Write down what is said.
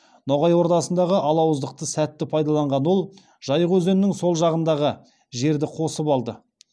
ноғай ордасындағы алауыздықты сәтті пайдаланған ол жайық өзенінің сол жағындағы жерді қосып алды